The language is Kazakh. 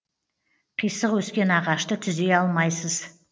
қисық өскен ағашты түзей алмайсыз